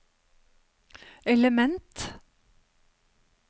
element